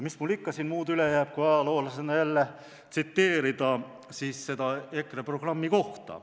Mis mul siin ikka muud üle jääb kui ajaloolasena jälle tsiteerida seda EKRE programmi kohta.